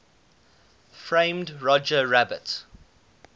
framed roger rabbit